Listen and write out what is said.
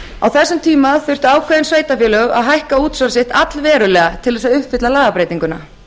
á þessum tíma þurftu ákveðin sveitarfélög að hækka útsvar sitt allverulega til þess að uppfylla lagabreytinguna